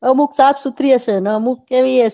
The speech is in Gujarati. અમુક સાફ સુત્રી હશે ને અમુક એવી હશે.